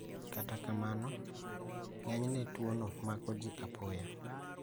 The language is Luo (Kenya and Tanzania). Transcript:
Kata kamano ng'enyne tuo no mako ji apoya